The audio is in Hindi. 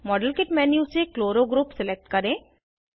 मॉडेल किट मेन्यू से क्लोरो ग्रुप सिलेक्ट करें